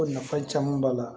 Ko nafa caman b'a la